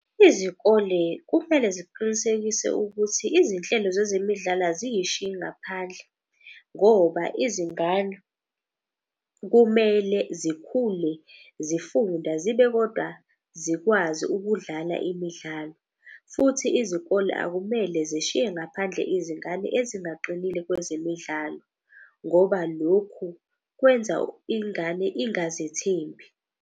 Izikole kumele ziqinisekise ukuthi izinhlelo zezemidlalo aziyishiyi ngaphandle. Ngoba izingane kumele zikhule zifunda zibe kodwa zikwazi ukudlala imidlalo. Futhi izikole akumele zishiye ngaphandle izingane ezingaqinile kwezemidlalo. Ngoba lokhu kwenza ingane ingazethembi.